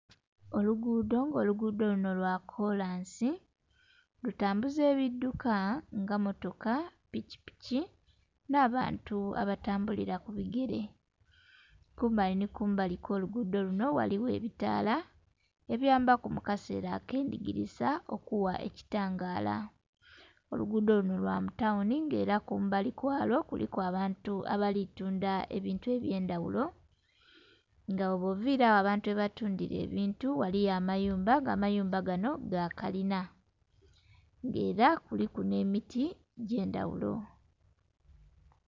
Oluguudo nga oluguudo luno lwa kolansi. Lutambuza ebidduka nga mmotoka, pikipiki, nh'abantu abatambulira ku bigele. Kumbali nhi kumbali kw'oluguudo luno ghaligho ebitaala ebiyambaku mu kaseela ak'endikiliza okugha ekitangaala. Oluguudo luno lwa mu tawuni, nga ela kumbali kwalwo kuliku abantu abali tunda ebintu eby'endaghulo, nga bwoba oviile agho abantu ghebatundila ebintu ghaliyo amayumba, nga amayumba ganho ga kalina. Nga ela kuliku nh'emiti egy'endhaghulo.